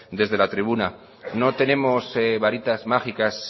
desde la tribuna no tenemos baritas mágicas